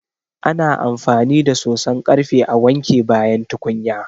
Ana amfani da soson ƙarfe a wanke bayan tukunya.